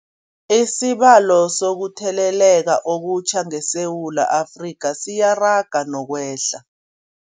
Isibalo sokuthele leka okutjha ngeSewula Afrika siyaraga nokwehla.